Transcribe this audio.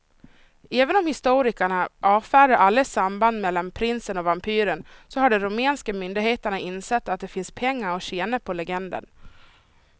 Även om historikerna avfärdar alla samband mellan prinsen och vampyren så har de rumänska myndigheterna insett att det finns pengar att tjäna på legenden.